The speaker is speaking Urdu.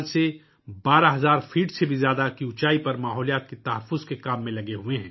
پچھلے 14 سالوں سے وہ 12,000 فٹ سے زیادہ کی بلندی پر ماحولیاتی تحفظ کے کام میں مصروف ہیں